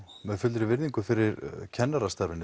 með fullri virðingu fyrir kennarastarfinu